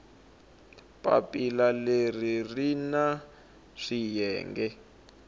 papila leri ri na swiyenge